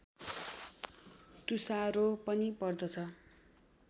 तुषारो पनि पर्दछ